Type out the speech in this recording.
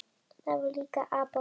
Þar var líka apótek.